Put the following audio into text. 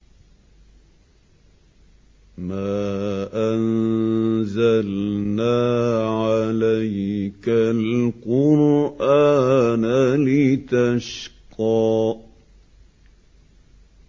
مَا أَنزَلْنَا عَلَيْكَ الْقُرْآنَ لِتَشْقَىٰ